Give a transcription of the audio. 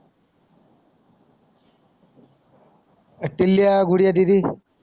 टील्या गुडिया दीदी